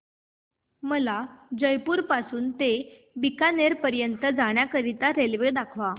मला जयपुर पासून ते बीकानेर पर्यंत जाण्या करीता रेल्वेगाडी दाखवा